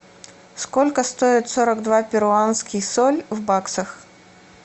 сколько стоит сорок два перуанских соль в баксах